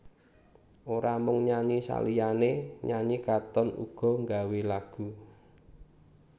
Ora mung nyanyi saliyané nyanyi Katon uga nggawé lagu